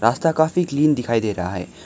रास्ता काफी क्लीन दिखाई दे रहा है।